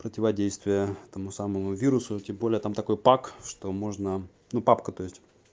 противодействие этому самому вирусу и тем более там такой пак что можно ну папка то есть